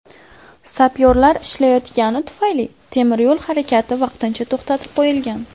Sapyorlar ishlayotgani tufayli, temiryo‘l harakati vaqtincha to‘xtatib qo‘yilgan.